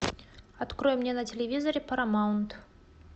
открой мне на телевизоре парамаунт